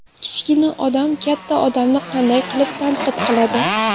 Kichkina odam katta odamni qanday qilib tanqid qiladi?